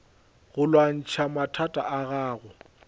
go lwantšha mathata a gago